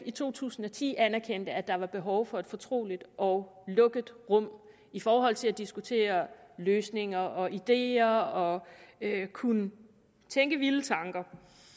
i to tusind og ti anerkendte at der var behov for et fortroligt og lukket rum i forhold til at diskutere løsninger og ideer og kunne tænke vilde tanker